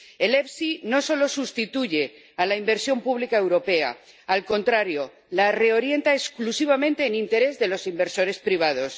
El FEIE no solo sustituye a la inversión pública europea, al contrario, la reorienta exclusivamente en interés de los inversores privados.